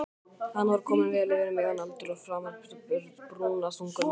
Hann var kominn vel yfir miðjan aldur og fremur brúnaþungur maður.